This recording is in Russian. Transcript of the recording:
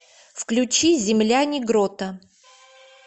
включи земляне грота